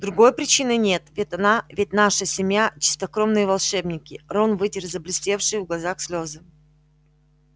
другой причины нет ведь она ведь наша семья чистокровные волшебники рон вытер заблестевшие в глазах слёзы